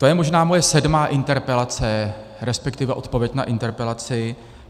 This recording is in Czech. To je možná moje sedmá interpelace, respektive odpověď na interpelaci.